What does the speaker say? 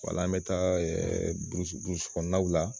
Wala an bɛ taa burusi burusi kɔnɔnaw la.